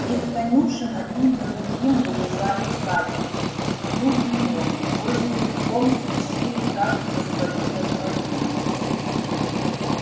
из конюшен один за другим выезжали всадники слуги негры тоже верхом спешили каждый за своим господином